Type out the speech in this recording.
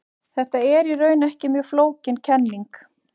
Þetta er í raun ekki mjög flókin kenning.